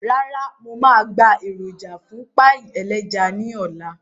Rárá, mo máa gba èròjà fún páì ẹlẹ́ja náà ní ọ̀la